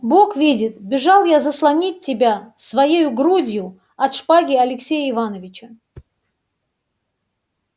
бог видит бежал я заслонить тебя своею грудью от шпаги алексея иваныча